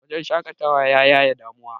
wajen shaƙatawa ya yaye damuwa